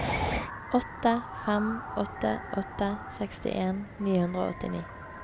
åtte fem åtte åtte sekstien ni hundre og åttini